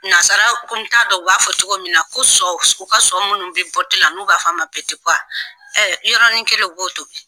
Nasara ko t'a dɔ u b'a fɔ cogo min na ko sɔ, u ka so munnu be la n'u b'a f'a ma yɔrɔnin kelen u b'o tobi.